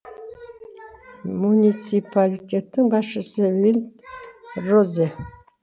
муниципалитеттің басшысы винд розе